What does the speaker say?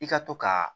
I ka to ka